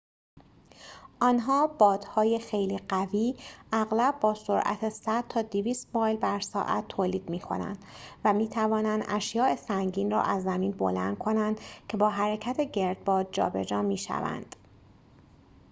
آنها بادهای خیلی قوی اغلب با سرعت 100 تا 200 مایل بر ساعت تولید می‌کنند و می‌توانند اشیاء سنگین را از زمین بلند کنند که با حرکت گردباد جابجا می‌شوند